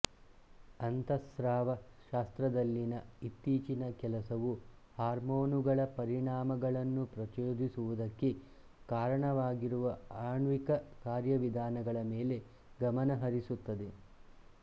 ಅಂತಃಸ್ರಾವ ಶಾಸ್ತ್ರದಲ್ಲಿನ ಇತ್ತೀಚಿನ ಕೆಲಸವು ಹಾರ್ಮೋನುಗಳ ಪರಿಣಾಮಗಳನ್ನು ಪ್ರಚೋದಿಸುವುದಕ್ಕೆ ಕಾರಣವಾಗಿರುವ ಆಣ್ವಿಕ ಕಾರ್ಯವಿಧಾನಗಳ ಮೇಲೆ ಗಮನಹರಿಸುತ್ತದೆ